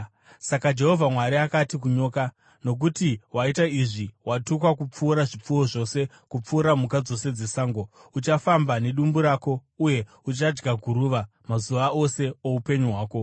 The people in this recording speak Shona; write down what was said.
Saka Jehovha Mwari akati kunyoka, “Nokuti waita izvi, “Watukwa kupfuura zvipfuwo zvose, kupfuura mhuka dzose dzesango! Uchafamba nedumbu rako uye uchadya guruva mazuva ose oupenyu hwako.